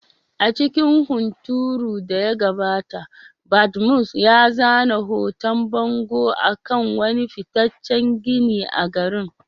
A lokacin hunturun da ya gabata, Badmus ya zana hoton bango a kan wani fitaccen gini a garin.